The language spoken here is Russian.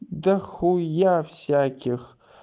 до хуя всяких